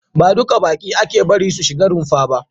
Ba duka baƙi ake bari su shiga runfa ba.